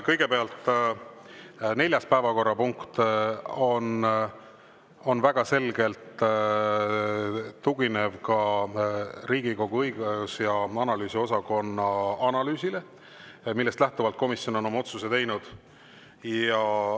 Kõigepealt, neljas päevakorrapunkt tugineb väga selgelt ka Riigikogu õigus- ja analüüsiosakonna analüüsile, millest lähtuvalt komisjon on oma otsuse teinud.